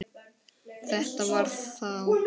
Þetta var þá